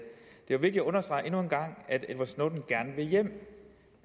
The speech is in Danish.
det er jo vigtigt at understrege endnu en gang at edward snowden gerne vil hjem